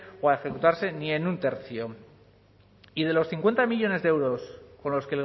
o a ejecutarse ni en un tercio y de los cincuenta millónes de euros con los